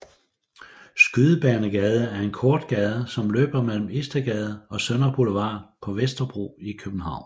Skydebanegade er en kort gade som løber mellem Istedgade og Sønder Boulevard på Vesterbro i København